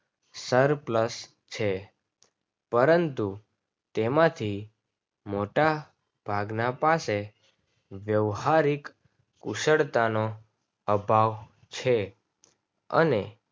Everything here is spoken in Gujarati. સર plus છે પરંતુ તેમાંથી મોટા ભાગના પાસે વ્યાવહારિક કુશળતાનો અભાવ છે અને